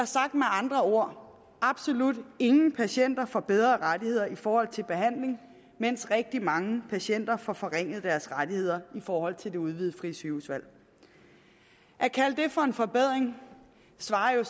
sagt med andre ord absolut ingen patienter får bedre rettigheder i forhold til behandling mens rigtig mange patienter får forringet deres rettigheder i forhold til det udvidede frie sygehusvalg at kalde det for en forbedring svarer jo